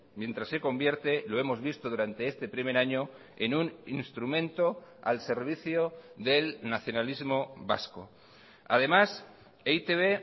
mientras se convierte lo hemos visto durante este primer año en un instrumento al servicio del nacionalismo vasco además e i te be